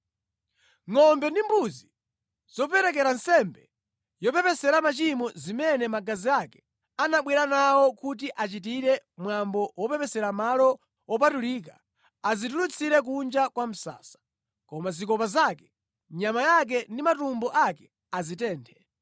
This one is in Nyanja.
Ngʼombe ndi mbuzi zoperekera nsembe yopepesera machimo zimene magazi ake anabwera nawo kuti achitire mwambo wopepesera Malo Wopatulika, azitulutsire kunja kwa msasa. Koma zikopa zake, nyama yake ndi matumbo ake azitenthe.